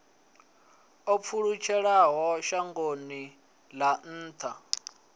o pfulutshelaho shangoni ḽa nnḓa